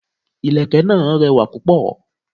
Ìlẹ̀kẹ̀ náà rẹwà púpọ̀.